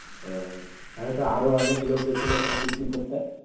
ও, তাহলে তো আরো অনেক লোক গেছিলো ওখানে picnic করতে?